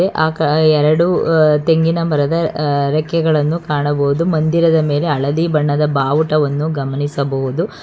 ಆಕ ಎರಡು ಅ ತೆಂಗಿನ ಮರದ ಅ ರೆಕ್ಕೆಗಳನ್ನು ಕಾಣಬಹುದು ಮಂದಿರದ ಮೇಲೆ ಅಳದಿ ಬಣ್ಣದ ಬಾವುಟವನ್ನು ಗಮನಿಸಬಹುದು.